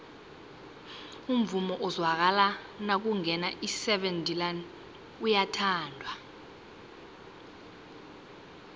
umvumo ozwakala nakungena iseven delaan uyathandwa